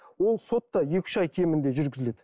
ол сот та екі үш ай кемінде жүргізіледі